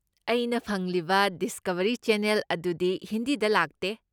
ꯑꯩꯅ ꯐꯪꯂꯤꯕ Discovery channel ꯑꯗꯨꯗꯤ ꯍꯤꯟꯗꯤꯗ ꯂꯥꯛꯇꯦ꯫